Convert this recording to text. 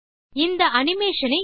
play this animation